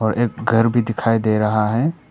एक घर भी दिखाई दे रहा है।